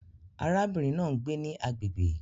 Arábìnrin náà ń gbé ní agbègbè